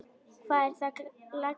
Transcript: Hvað er það, lagsi?